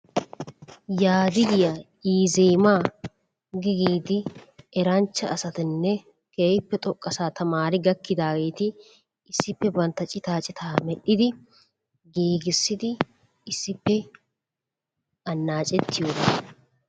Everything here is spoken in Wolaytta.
Yaadigiya iizeemma gi giidi eranchcha asatanne keehippe xoqqasaa tammari gakkidaageeti issippe bantta citaa citaa medhdhidi gigissidi issippe annaaccettiyogaa.